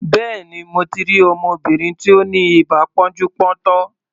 Béèni, mo ti rí ọmọbìnrin tí ó ní ibà pọ́njú-pọ́ntọ̀.